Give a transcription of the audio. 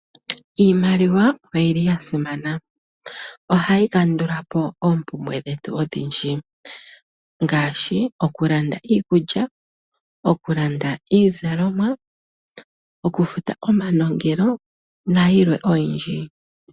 Iimaliwa oyili ya simana. Ohayi kandulapo moompumbwe dhetu odhindji ngaashi okulanda iikulya, okulanda iizalomwa, okufuta omanongelo nayilwe oyindji.